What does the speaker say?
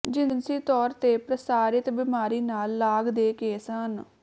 ਜਿਨਸੀ ਤੌਰ ਤੇ ਪ੍ਰਸਾਰਿਤ ਬੀਮਾਰੀ ਨਾਲ ਲਾਗ ਦੇ ਕੇਸ ਹਨ